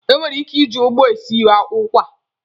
E nwere ike iji ụgba esi ụkwa.